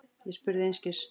Ég spurði einskis.